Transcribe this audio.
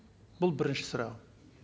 бұл бірінші сұрағым